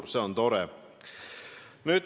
Ja see on tore.